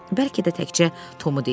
Bəlkə də təkcə Tomu deyirmiş.